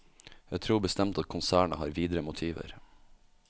Jeg tror bestemt at konsernet har videre motiver.